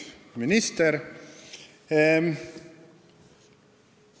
Hea minister!